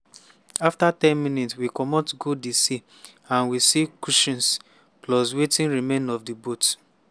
afta ten minutes we comot go di sea and we see cushions plus wetin remain of di boat